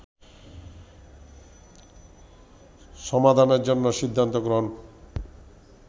সমাধানের জন্য সিদ্ধান্ত গ্রহণ